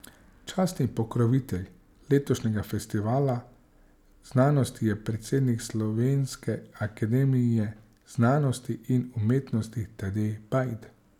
Častni pokrovitelj letošnjega Festivala znanosti je predsednik Slovenske akademije znanosti in umetnosti Tadej Bajd.